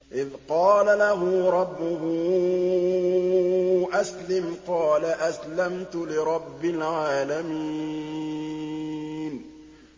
إِذْ قَالَ لَهُ رَبُّهُ أَسْلِمْ ۖ قَالَ أَسْلَمْتُ لِرَبِّ الْعَالَمِينَ